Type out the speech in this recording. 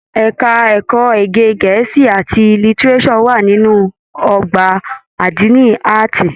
Ẹka ẹ̀kọ́ èdè gẹ̀ẹ́sì àti lítíréṣọ̀ wà nínú ọgbà adini Ààtì.